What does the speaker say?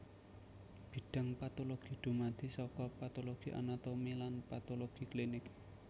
Bidhang patologi dumadi saka patologi anatomi lan patologi klinik